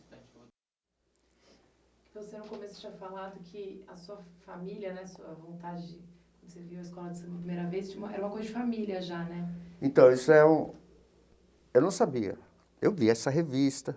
Você, no começo, tinha falado que a sua família né, sua vontade de, quando você viu a escola de samba pela primeira vez, tinha uma era uma coisa de família já, né? Então isso é um eu não sabia, eu via essa revista.